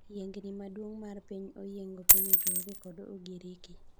Yiengni maduong' mar piny oyiengo piny Uturuki kod Ugiriki.